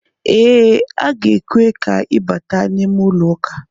Ee a ga-ekwe ka i bata n'ime ụlọ ụka.